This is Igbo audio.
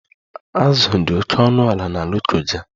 Azụ dị oke ọnụ ala na Lokoja